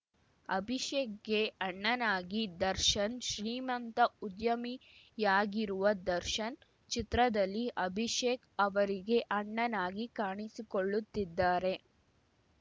ಅಭಿಷೇಕ್‌ಗೆ ಅಣ್ಣನಾಗಿ ದರ್ಶನ್‌ ಶ್ರೀಮಂತ ಉದ್ಯಮಿಯಾಗಿರುವ ದರ್ಶನ್‌ ಚಿತ್ರದಲ್ಲಿ ಅಭಿಷೇಕ್‌ ಅವರಿಗೆ ಅಣ್ಣನಾಗಿ ಕಾಣಿಸಿಕೊಳ್ಳುತ್ತಿದ್ದಾರೆ